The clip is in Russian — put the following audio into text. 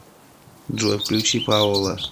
джой включи паола